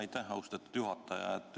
Aitäh, austatud juhataja!